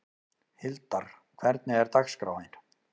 Hildar, hvernig er dagskráin?